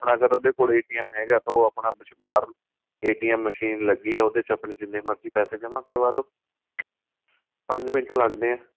ਆਪਣਾਂ ਅਗਰ ਉਹਦੇ ਕੋਲੋਂ ਹੈਗਾ ਤਾਂ ਉਹ ਆਪਣਾ ਬਹਾਰ machine ਲੱਗੀ ਏ ਉਹਦੇ ਵਿੱਚ ਆਪਣੇਂ ਜਿੰਨੇ ਮਰਜੀ ਪੈਸੇ ਜਮਾਂ ਕਰਵਾਦੋ ਪੰਜ ਮਿੰਟ ਲੱਗਦੇ ਏ